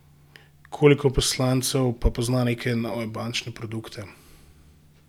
Koliko poslancev pa pozna neke nove bančne produkte?